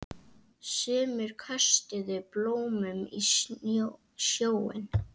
Sumir köstuðu blómum í sjóinn.